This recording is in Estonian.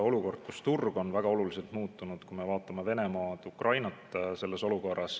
Olukord, kus turg on väga oluliselt muutunud, kui me vaatame Venemaad ja Ukrainat selles olukorras.